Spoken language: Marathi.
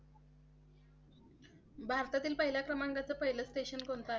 भारतातील पहिला क्रमांकाचे पहिलं स्टेशन कोणते?